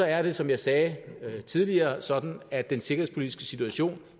er det som jeg sagde tidligere sådan at den sikkerhedspolitiske situation